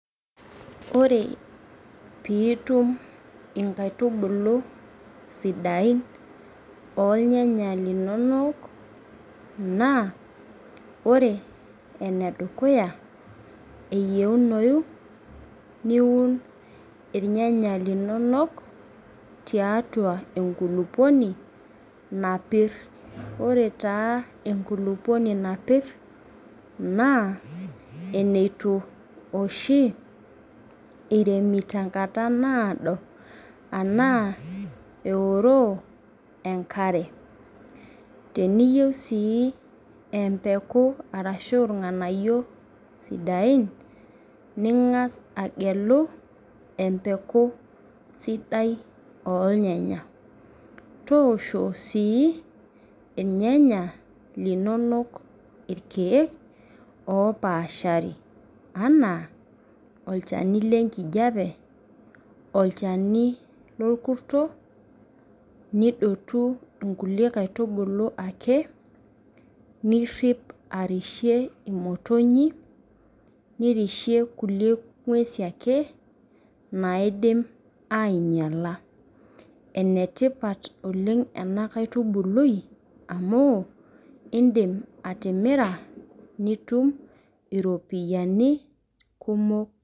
Ore pitum inkaitubulubsidain ornyanya linonok na ore enedukuya eyieunoyu niun irnyanya linonok tiatua enkulupuoni napir ore enkulukuoni napir na enituiremi tenkata nado anaa eoroo enkare teniyieu sii empeku ashu irnganayio sidain ningas agelu empeku sidai ornyanya toosho si irnyanya linonok irkiek opaashari ana olchani lenkijape, olchani lorkurto nidotu nkulie kaitubulu ake nirip arishie motonyik niripie ngwesi ake naidim ainyala enetipat oleng enakaitubului amu indim atimira nitum iropiyani kumok.